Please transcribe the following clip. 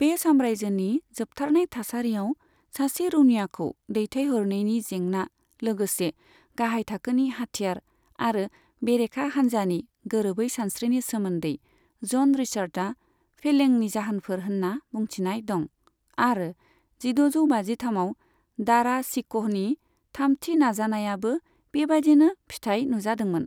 बे साम्रायजोनि जोबथारनाय थासारिआव सासे रौनियाखौ दैथायहरनायनि जेंना, लोगोसे गाहाय थाखोनि हाथियार आरो बेरेखा हानजानि गोरोबै सानस्रिनि सोमोन्दै ज'न रिचार्ड्सआ फेलेंनि जाहोनफोर होन्ना बुंथिनाय दं, आरो जिद'जौ बाजिथामआव दारा शिक'हनि थामथि नाजानायाबो बेबायदिनो फिथाय नुजादोंमोन।